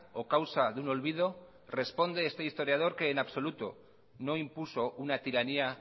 o causa de un olvido responde este historiador que en absoluto no impuso una tiranía